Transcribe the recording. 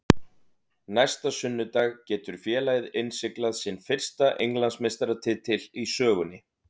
Næsta sunnudag getur félagið innsiglað sinn fyrsta Englandsmeistaratitil í sögunni.